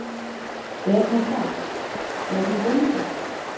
Er hann það, er hann bóndi?